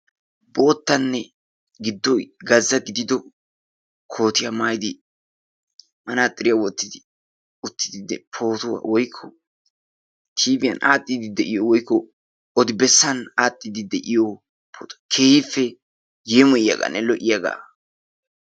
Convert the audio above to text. bootanne gido gaza giddo kootiya maayidi, manaaxiriya, wotidaagee pootuwa woykko tiiviyan aadhiidi de'iyoge keehippe yeemiyiyagaanne lo'iyaaga.